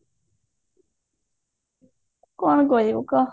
କଣ କରିବୁ କହ